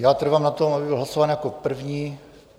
Já trvám na tom, aby byl hlasován jako první.